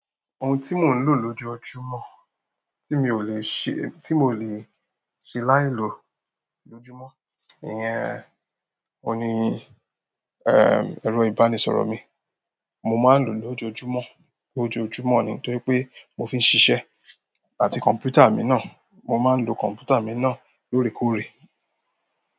Ohun tí mò ń lò lójoójúmọ́, tí mi ò lè ṣe, tí mi ò lè ṣe láì lò lójúmọ́, ìyẹn òní, ẹ́, ẹ̀rọ ìbánisọ̀rọ̀ mi. Mo máa ń lò ó lójoójúmọ́, lójoójúmọ́ ní nítorí pé mo fi ń ṣisẹ́, àti kọ̀mpútà mi náà, mo máa ń lo kọ̀mpútà mi náà lóòrèkóòrè.